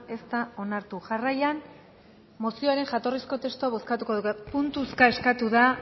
ez da onartu jarraian mozioaren jatorrizko testua bozkatuko dugu puntuka eskatu da